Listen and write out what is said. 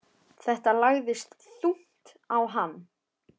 Þetta lagðist þungt á hann.